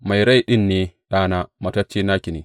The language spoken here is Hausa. Mai rai ɗin ne ɗana; mataccen naki ne.